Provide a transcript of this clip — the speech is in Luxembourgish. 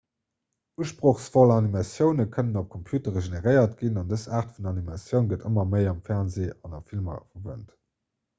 usprochsvoll animatioune kënnen op computere generéiert ginn an dës aart vun animatioun gëtt ëmmer méi am fernsee an a filmer verwent